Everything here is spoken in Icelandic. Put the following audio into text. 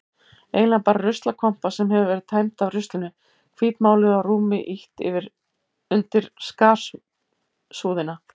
Eiginlega bara ruslakompa sem hafði verið tæmd af ruslinu, hvítmáluð og rúmi ýtt undir skarsúðina.